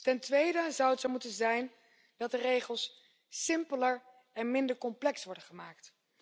Ten tweede zou het zo moeten zijn dat de regels simpeler en minder complex worden gemaakt.